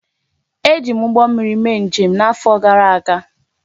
E ji m ụgbọ mmiri mee njem n'afọ gara aga